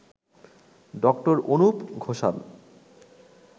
ড. অনুপ ঘোষাল